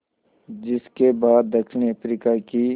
जिस के बाद दक्षिण अफ्रीका की